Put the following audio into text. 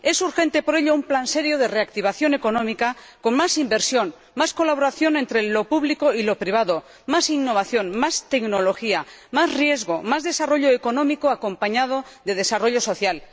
Es urgente, por ello, un plan serio de reactivación económica con más inversión, más colaboración entre lo público y lo privado, más innovación, más tecnología, más riesgo, más desarrollo económico acompañado de desarrollo social.